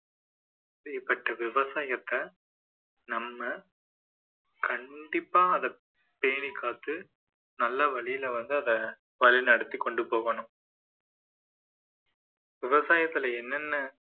அப்படிப்பட்ட விவசாயத்தை நம்ம கண்டிப்பா அத பேணிக் காத்து நல்ல வழியில வந்து அதை வழி நடத்திக் கொண்டு போகணும் விவசாயத்துல என்னென்ன